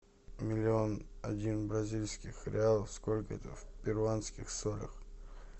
миллион один бразильских реалов сколько это в перуанских солях